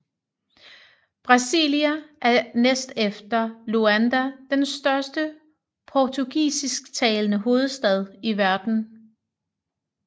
Brasília er næstefter Luanda den største portugisisktalende hovedstad i verden